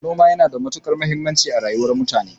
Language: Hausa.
Noma yana da matukar muhimmanci a rayuwar mutane